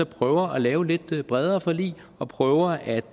prøve at lave lidt bredere forlig og prøve at